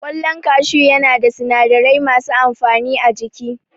Ƙwallon kashu ya na da sinadarai masu amfani a jiki